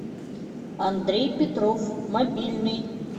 андрей петров мобильный